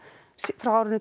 frá árinu tvö